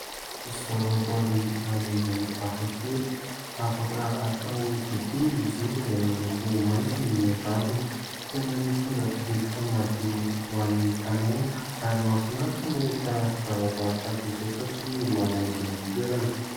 Zavaboary maniry hafakely. Afaka atao dite izy io izay miloko maitso ny raviny. Tena mitondra rivotra madio ho an'ny tanàna ary mahafinaritra ny mahita zavaboary tahaka izao satria manaingo ny toerana.